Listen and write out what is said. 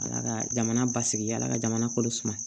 Ala ka jamana basigi ala ka jamana kolo suma